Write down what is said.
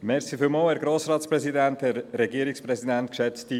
Wer diesem Postulat zustimmt, stimmt Ja, wer es ablehnt, stimmt Nein.